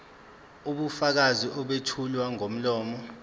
ubufakazi obethulwa ngomlomo